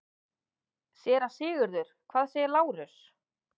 SÉRA SIGURÐUR: Hvað segir Lárus?